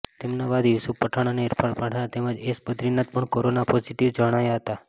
તેમના બાદ યુસુફ પઠાણ અને ઈરફાન પઠાણ તેમજ એસ બદ્રીનાથ પણ કોરોના પોઝિટીવ જણાયા હતા